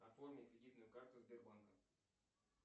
оформи кредитную карту сбербанка